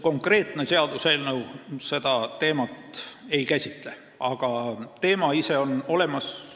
Konkreetne seaduseelnõu seda ei käsitle, aga teema ise on olemas.